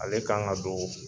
Ale kan ka do